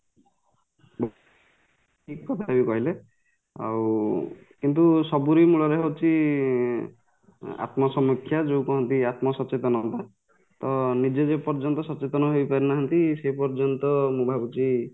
ଠିକ କଥା ବି କହିଲେ ଆଉ କିନ୍ତୁ ସବୁରି ମୂଳରେ ହଉଚି ଇଂ ଆତ୍ମାସମୀକ୍ଷା ଯୋଉ କହନ୍ତି ଆତ୍ମାସଚେତନତା ତ ନିଜେ ଯେପର୍ଯ୍ୟନ୍ତ ସଚେତନ ହେଇପାରିନାହାନ୍ତି ସେପର୍ଯ୍ୟନ୍ତ ମୁଁ ଭାବୁଛି